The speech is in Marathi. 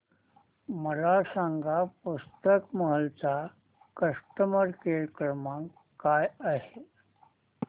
मला सांगा पुस्तक महल चा कस्टमर केअर क्रमांक काय आहे